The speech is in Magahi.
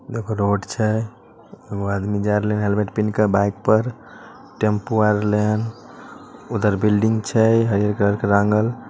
देखो रोड छै एगो आदमी जा रहले हेलमेट पिहन क बाइक पर टैम्पू आ रहले हन उधर बिल्डिंग छै हरियर कलर के रांगल।